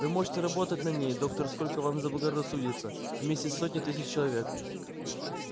вы можете работать на ней доктор сколько вам заблагорассудится вместе с сотней тысяч человек